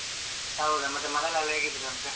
ಹೌದಾ, ಮತ್ತೆ ಮನೆಯಲ್ಲೆಲ್ಲಾ ಹೇಗಿದ್ದಾರಂತೆ?